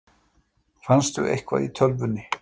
Fannstu eitthvað í tölvunni?